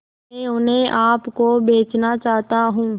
मैं उन्हें आप को बेचना चाहता हूं